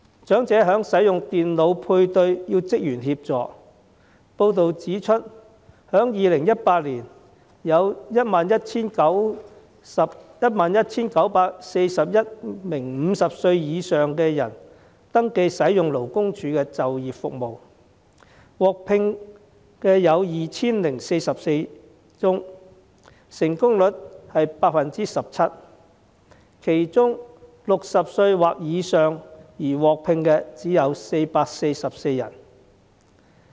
長者使用電腦配對需要職員協助，報道指出在2018年有 11,941 名50歲以上的人士登記使用勞工處的就業服務，獲聘的有 2,044 宗，成功率是 17%； 其中 ，60 歲或以上而獲聘的只有444人。